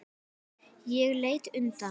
Ég leit undan.